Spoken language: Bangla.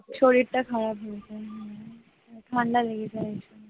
শরীরটা খারাপ হয়ে যায় হ্যাঁ, ঠান্ডা লেগে যায়।